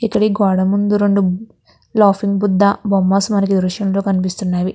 ఇక్కడ ఈ గోడ ముందు రెండు లాఫింగ్ బుద్ధా బొమ్మాస్ మనకి దృశయములో కనిపిస్తున్నాయి.